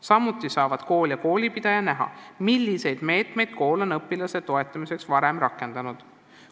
Samuti saavad kool ja koolipidaja näha, milliseid meetmeid kool on õpilase toetamiseks varem rakendanud.